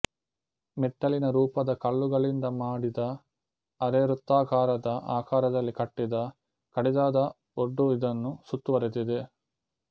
ಮೆಟ್ಟಿಲಿನ ರೂಪದ ಕಲ್ಲುಗಳಿಂದ ಮಾಡಿದ ಅರೆ ವೃತ್ತಾಕಾರದ ಆಕಾರದಲ್ಲಿ ಕಟ್ಟಿದ ಕಡಿದಾದ ಒಡ್ಡು ಇದನ್ನು ಸುತ್ತುವರೆದಿದೆ